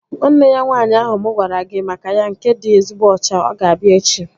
Nwanne ya nwaanyị ahụ mụ gwara gị maka ya nke dị ezigbo ọcha, ọ g-abịa echi